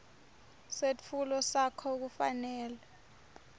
setfulo sakho kufanele